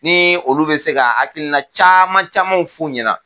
Ni olu be se ka hakilina caman camanw f'u ɲɛna.